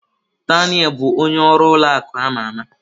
Daniel bụ onye ọrụ ụlọ akụ ama ama.